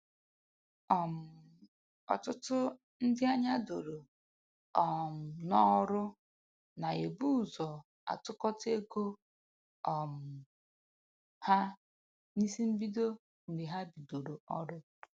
um Ọtụtụ ndị anya doro um n'ọrụ na-ebu ụzọ atụkọta ego um ha n'isi mbido mgbe ha bidoro ọrụ